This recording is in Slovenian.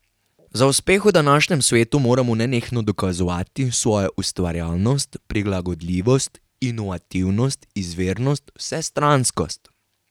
Za uspeh v današnjem svetu moramo nenehno dokazovati svojo ustvarjalnost, prilagodljivost, inovativnost, izvirnost, vsestranskost.